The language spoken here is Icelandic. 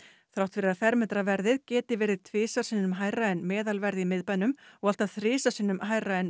þrátt fyrir að fermetraverðið geti verið tvisvar sinnum hærra en meðalverð í miðbænum og allt að þrisvar sinnum hærra en